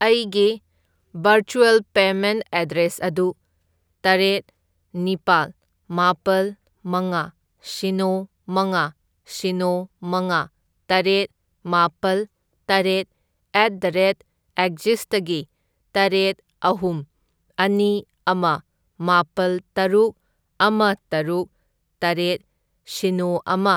ꯑꯩꯒꯤ virtual payment address ꯑꯗꯨ ꯇꯔꯦꯠ ꯅꯤꯄꯥꯜ ꯃꯥꯄꯜ ꯃꯉꯥ ꯁꯤꯅꯣ ꯃꯉꯥ ꯁꯤꯅꯣ ꯃꯉꯥ ꯃꯇꯔꯦꯠ ꯃꯥꯄꯜ ꯇꯔꯦꯠ ꯑꯦꯠ ꯗ ꯔꯦꯠ ꯑꯦꯛꯖꯤꯁꯇꯒꯤ ꯇꯔꯦꯠ ꯑꯍꯨꯝ ꯑꯅꯤ ꯑꯃ ꯃꯥꯄꯜ ꯇꯔꯨꯛ ꯑꯃ ꯇꯔꯨꯛ ꯇꯔꯦꯠ ꯁꯤꯅꯣ ꯑꯃ